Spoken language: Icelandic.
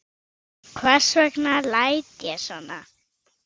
Hvers vegna læt ég svona?